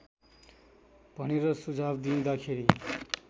भनेर सुझाव दिँदाखेरि